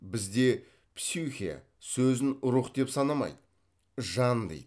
бізде псюхе сөзін рух деп санамайды жан дейді